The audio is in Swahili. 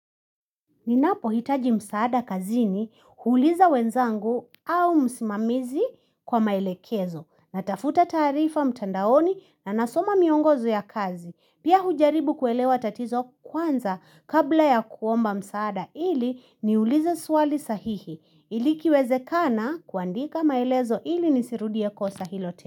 Ninapohitaji msaada kazini huuliza wenzangu au msimamizi kwa maelekezo, natafuta taarifa mtandaoni na nasoma miongozo ya kazi. Pia hujaribu kuelewa tatizo kwanza kabla ya kuomba msaada ili niulize swali sahihi ili ikiwezekana kuandika maelezo ili nisirudie kosa hilo.